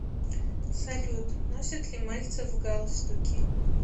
салют носит ли мальцев галстуки